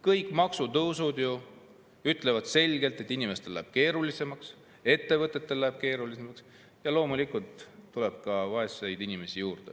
Kõik maksutõusud ju ütlevad selgelt, et inimestel läheb keerulisemaks, ettevõtetel läheb keerulisemaks ja loomulikult tuleb ka vaeseid inimesi juurde.